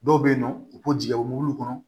Dɔw bɛ yen nɔ u b'u jigin mobili kɔnɔ